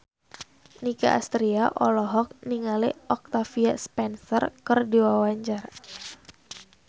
Nicky Astria olohok ningali Octavia Spencer keur diwawancara